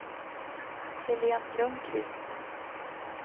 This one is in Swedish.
Helene Lundkvist